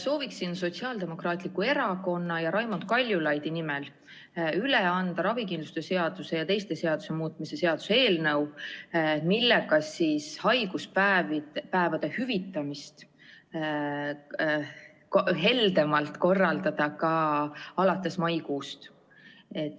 Soovin Sotsiaaldemokraatliku Erakonna ja Raimond Kaljulaidi nimel üle anda ravikindlustuse seaduse ja teiste seaduste muutmise seaduse eelnõu, millega võimaldada haiguspäevade heldemat hüvitamist ka alates maikuust.